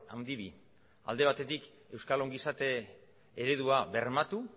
handi bi alde batetik euskal ongizate eredua bermatu